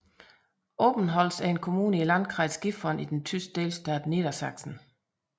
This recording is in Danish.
Obernholz er en kommune i Landkreis Gifhorn i den tyske delstat Niedersachsen